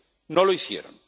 No lo hicieron.